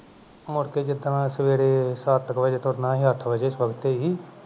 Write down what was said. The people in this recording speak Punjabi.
ਮੁੜਕੇ ਜਿਸ ਦਿਨ ਸਵੇਰੇ ਸੱਤ ਕੁ ਵਜੇ ਤੁਰਨਾ ਸੀ ਅਠ ਵਜੇ ਸਵਖਤੇ ਹੀ